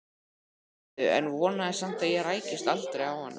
Gyðu en vonaði samt að ég rækist aldrei á hana.